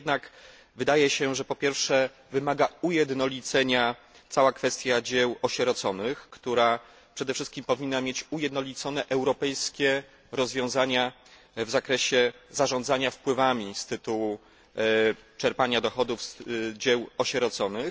Niemniej jednak wydaje się, że po pierwsze wymaga ujednolicenia cała kwestia dzieł osieroconych, która przede wszystkim powinna mieć ujednolicone europejskie rozwiązania w zakresie zarządzania wpływami z tytułu czerpania dochodów z dzieł osieroconych.